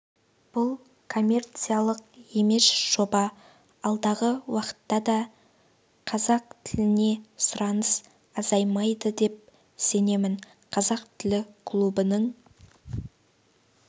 бұл коммерциялық емес жоба алдағы уақытта да қазақ тіліне сұраныс азаймайды деп сенемін қазақ тілі клубының